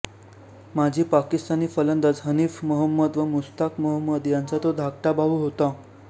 माजी पाकिस्तानी फलंदाज हनीफ मोहम्मद व मुश्ताक मोहम्मद यांचा तो धाकटा भाऊ होता